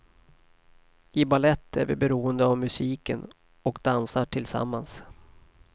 I balett är vi beroende av musiken och dansar tillsammans.